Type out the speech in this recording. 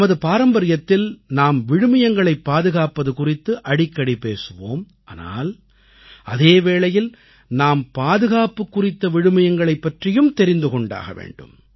நமது பாரம்பரியத்தில் நாம் விழுமியங்களைப் பாதுகாப்பது குறித்து அடிக்கடி பேசுவோம் ஆனால் அதே வேளையில் நாம் பாதுகாப்பு குறித்த விழுமியங்களைப் பற்றியும் தெரிந்து கொண்டாக வேண்டும்